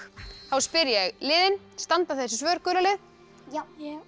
þá spyr ég liðin standa þessi svör gula lið já